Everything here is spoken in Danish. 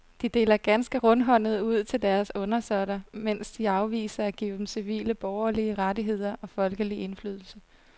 De deler ganske rundhåndet ud til deres undersåtter, mens de afviser at give dem civile borgerlige rettigheder og folkelig indflydelse.